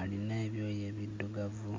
alina ebyoya ebiddugavu.